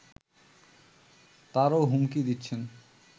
তারও হুমকি দিচ্ছেন